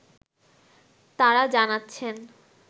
তাঁরা জানাচ্ছেন